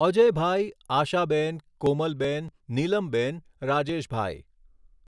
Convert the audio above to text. Ajaybhai ,Ashaben ,Komalben ,Nilamben ,Rajeshbhai